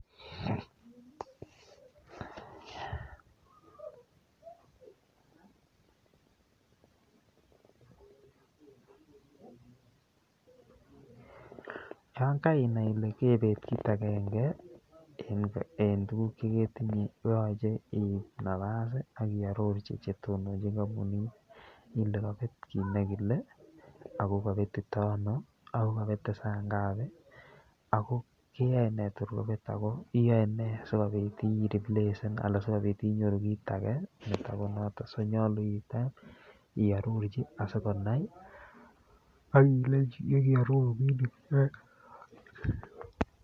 Yoon kainai ilee koibet kiit akenge en tukuk cheketinye koyoche iib nabas ak iororchi chetononchin kombunit ilee kobet kiit nekile ak ko kobetito anoo ak ko kobete saa ngapi ak ko keyoene kotor kobet ak ko iyoene siriplesen anan sikobit inyoru kiit akee netokonoton so nyolu iteb iororchi asikonai ak ilenchi yekoiororuke.